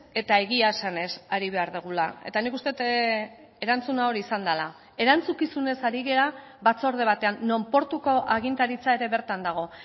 eta egia esanez ari behar dugula eta nik uste dut erantzuna hori izan dela erantzukizunez ari gara batzorde batean non portuko agintaritza ere bertan dago